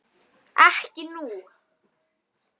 Ekki nú.